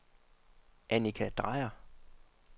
Annika Drejer